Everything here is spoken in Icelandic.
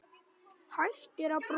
Hættir að brosa.